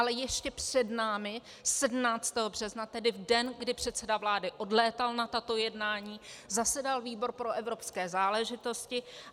Ale ještě před námi 17. března, tedy v den, kdy předseda vlády odlétal na tato jednání, zasedal výbor pro evropské záležitosti.